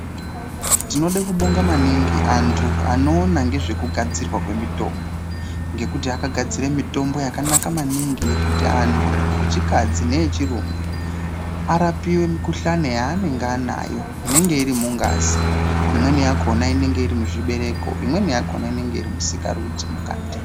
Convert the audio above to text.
Tinoda kubonga maningi antu anoona ngezvekugadzirwa kwemitombo. Ngekuti akagadzira mitombo yakanaka maningi yekuti antu echikadzi neechirume arapiwe mikhuhlani yaanenge anayo inenge iri mungazi. Imweni yakhona inenge iri muzvibereko. Imweni yakhona inenge iri musikarudzi mukati.